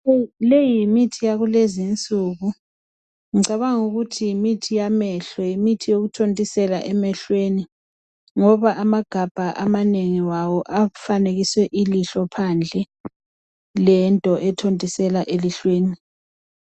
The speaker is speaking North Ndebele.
Leyi yimithi yalezi insuku. Ngicabanga ukuthi yimithi bamehlo. Yimithi yokuthontisela emehlweni. Ngoba amagabha awo amanengi afanekiswe ilihlo, lento ethontisela elihlweni.